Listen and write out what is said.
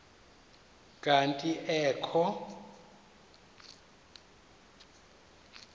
kanti ee kho